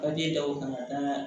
Ka den da o kan ka d'a kan